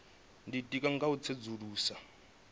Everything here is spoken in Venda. ditika nga u tsedzuluso yo